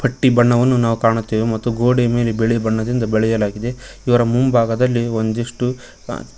ಬಣ್ಣವನ್ನು ನಾವು ಕಾಣುತ್ತೇವೆ ಮತ್ತು ಗೋಡೆಯ ಮೇಲೇ ಬಿಳಿ ಬಣ್ಣದಿಂದ ಬಳೆಯಲಾಗಿದೆ ಇವರ ಮುಂಭಾಗದಲ್ಲಿ ಒಂದಿಷ್ಟು ಹ.